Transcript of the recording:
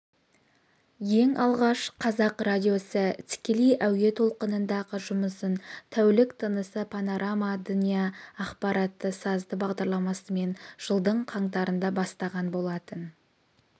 ең алғаш қазақ радиосы тікелей әуе толқынындағы жұмысын тәулік тынысы понарама дня ақпаратты-сазды бағдарламасымен жылдың қаңтарында бастаған болатын